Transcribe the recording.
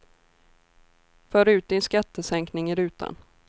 För ut din skattesänkning i rutan.